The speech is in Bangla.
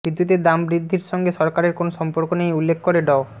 বিদ্যুতের দাম বৃদ্ধির সঙ্গে সরকারের কোনো সম্পর্ক নেই উল্লেখ করে ড